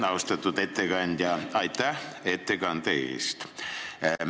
Austatud ettekandja, aitäh ettekande eest!